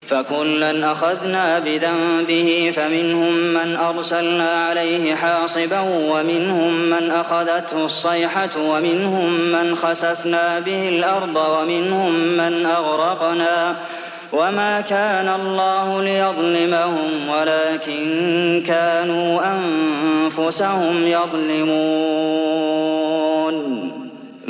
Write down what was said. فَكُلًّا أَخَذْنَا بِذَنبِهِ ۖ فَمِنْهُم مَّنْ أَرْسَلْنَا عَلَيْهِ حَاصِبًا وَمِنْهُم مَّنْ أَخَذَتْهُ الصَّيْحَةُ وَمِنْهُم مَّنْ خَسَفْنَا بِهِ الْأَرْضَ وَمِنْهُم مَّنْ أَغْرَقْنَا ۚ وَمَا كَانَ اللَّهُ لِيَظْلِمَهُمْ وَلَٰكِن كَانُوا أَنفُسَهُمْ يَظْلِمُونَ